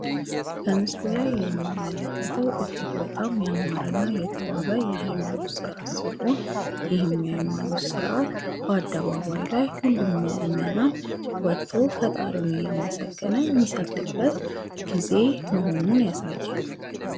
በምስሉ ላይ የምንመለከተው እጅግ በጣም ያማረ እና የተዋበ የሀይማኖት ስርአት ሲሆን ይህም የሀይማኖት ስርአት በአደባባይ ላይ ሁሉም ምእምናን ወጦ ፈጣሪውን እያመሰገነ ሚሰግድበት ጊዜ መሆኑን ያሳያል ።